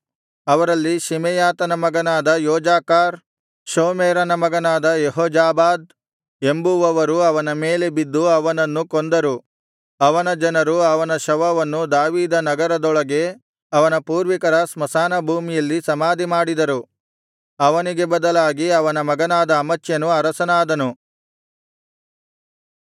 ಅವರಲ್ಲಿ ಶಿಮೆಯಾತನ ಮಗನಾದ ಯೋಜಾಕಾರ್ ಶೋಮೆರನ ಮಗನಾದ ಯೆಹೋಜಾಬಾದ್ ಎಂಬುವವರು ಅವನ ಮೇಲೆ ಬಿದ್ದು ಅವನನ್ನು ಕೊಂದರು ಅವನ ಜನರು ಅವನ ಶವವನ್ನು ದಾವೀದ ನಗರದೊಳಗೆ ಅವನ ಪೂರ್ವಿಕರ ಸ್ಮಶಾನ ಭೂಮಿಯಲ್ಲಿ ಸಮಾಧಿಮಾಡಿದರು ಅವನಿಗೆ ಬದಲಾಗಿ ಅವನ ಮಗನಾದ ಅಮಚ್ಯನು ಅರಸನಾದನು